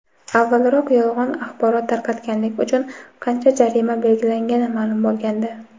avvalroq yolg‘on axborot tarqatganlik uchun qancha jarima belgilangani ma’lum bo‘lgandi.